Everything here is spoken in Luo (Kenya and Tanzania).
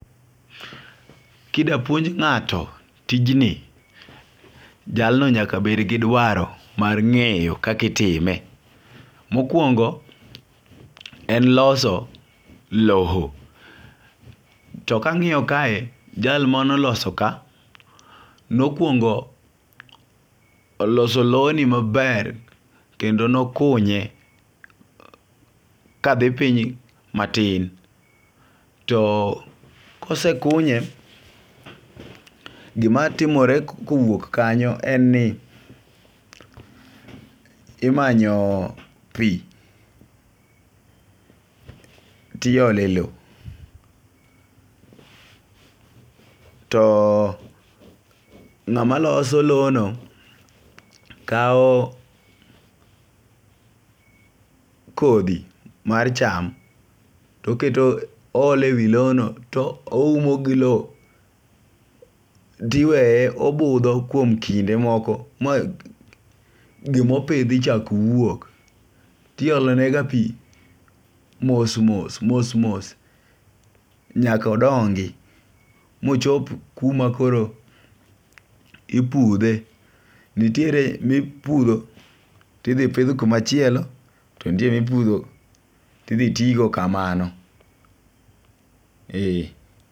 Kida puonj nga'to tijni, jalno nyaka bed gi dwaro ma nge'yo kaka itime, mokuongo' en loso loho to kangi'yo kae jal mane oloso ka nokuongo' oloso loni maber kendo nokunye kathi piny matin, to kosekunye gimatimore kowuok kanyo en ni imanyo pi tiyole lowo, too nga'ma loso lono kawo kothi mar cham toketo oholo e wi loni to ohumo gi lowo tiweye obutho kuom kinde moko ma gimopithi chak wuok to iholonegiga pi mos mos mos mos nyaka ondongi mochop kuma koro iputhe, nitiere ma iputho ma ithi pitho kumachielo to nitiere ma iputho to ithi tigo kamano ee.